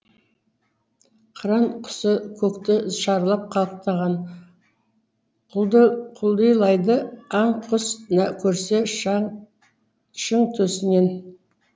қыран құсы көкті шарлап қалықтаған құлдилайды аң құс көрсе шың төсінен